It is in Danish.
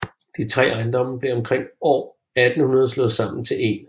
De 3 ejendommen blev omkring år 1800 slået sammen til én